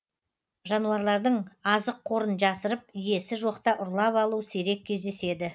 жануарлардың азық қорын жасырып иесі жоқта ұрлап алу сирек кездеседі